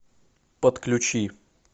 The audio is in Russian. подключи